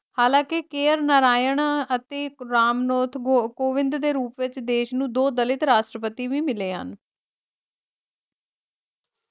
ਹਾਲਾ ਕਿ KR ਨਾਰਾਇਣ ਅਤੇ ਰਾਮਨੋਥ ਗੋਕੋਵਿੰਦ ਦੇ ਰੂਪ ਵਿਚ ਦੇਸ਼ ਨੂੰ ਦੋ ਦਲਿਤ ਰਾਸ਼ਟਰਪਤੀ ਵੀ ਮਿਲੇ ਹਨ